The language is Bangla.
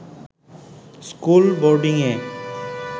স্কুল বোর্ডিংয়ে